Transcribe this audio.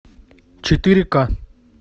четыре ка